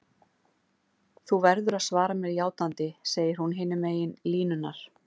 Þú verður að svara mér játandi, segir hún hinum megin línunnar.